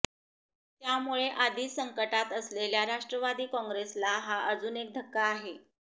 त्यामुळे आधीच संकटात असलेल्या राष्ट्रवादी कॉंग्रेसला हा अजून एक धक्का आहे